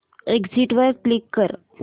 exit वर click कर